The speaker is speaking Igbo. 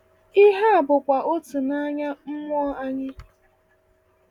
Ihe a bụkwa otu n’anya mmụọ anyị.